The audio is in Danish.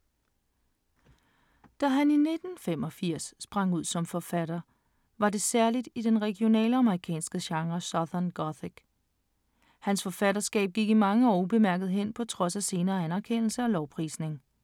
Da han i 1965 sprang ud som forfatter, var det særligt i den regionale amerikanske genre southern gothic. Hans forfatterskab gik i mange år ubemærket hen på trods af senere anerkendelse og lovprisning.